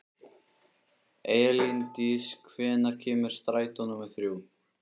Elíndís, hvenær kemur strætó númer þrjú?